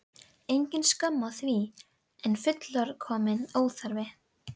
Engin skömm að því, en líka fullkominn óþarfi.